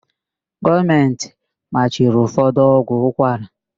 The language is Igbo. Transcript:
Gọọmentị machiri ụfọdụ ọgwụ ụkwara.